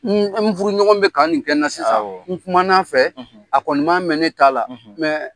N n furu ɲɔgɔn bɛ ka nin kɛ n na sisan n kuma n'a fɛ a kɔni man mɛn ne ta la